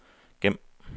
gem